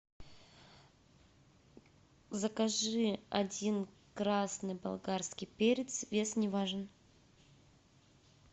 закажи один красный болгарский перец вес не важен